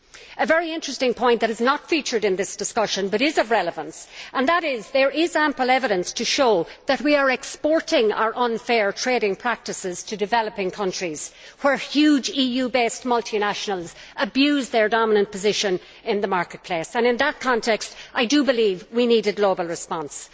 A very interesting point that has not featured in this discussion, but is of relevance, is that there is ample evidence that we are exporting our unfair trading practices to developing countries, where huge EU based multinationals abuse their dominant position in the marketplace. In that context, I believe we need a global response.